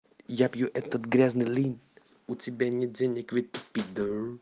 я пью этот грязный линд у тебя нет денег выпить пидор